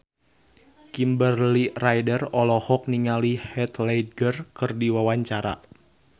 Kimberly Ryder olohok ningali Heath Ledger keur diwawancara